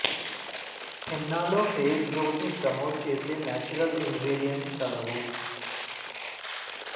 హెన్నాలో hair growth ను promote చేసే natural ingredients కలవు